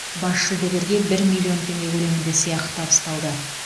бас жүлдегерге бір миллион теңге көлемінде сыйақы табысталды